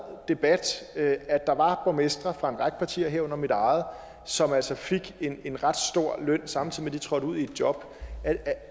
debat at der var borgmestre fra en række partier herunder mit eget som altså fik en en ret stor løn samtidig med at de trådte ud i et job